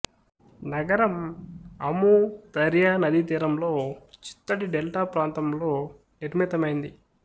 నగరం Amu Darya నదీతీరంలో చిత్తడి డెల్టా ప్రాంతంలో నిర్మితమైంది